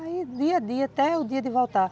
Aí, dia a dia, até o dia de voltar.